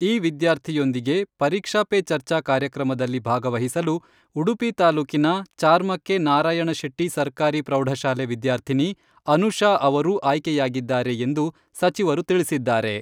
ಈ ವಿದ್ಯಾರ್ಥಿಯೊಂದಿಗೆ ಪರೀಕ್ಷಾ ಪೇ ಚರ್ಚಾ ಕಾರ್ಯಕ್ರಮದಲ್ಲಿ ಭಾಗವಹಿಸಲು ಉಡುಪಿ ತಾಲೂಕಿನ ಚಾರ್ಮಕ್ಕೆ ನಾರಾಯಣ ಶೆಟ್ಟಿ ಸರಕಾರಿ ಪ್ರೌಢಶಾಲೆ, ವಿದ್ಯಾರ್ಥಿನಿ ಅನುಷಾ ಅವರೂ ಆಯ್ಕೆಯಾಗಿದ್ದಾರೆ ಎಂದು ಸಚಿವರು ತಿಳಿಸಿದ್ದಾರೆ.